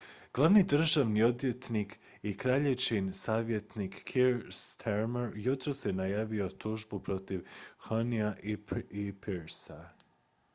glavni državni odvjetnik i kraljičin savjetnik keir starmer jutros je najavio tužbu protiv huhnea i pryce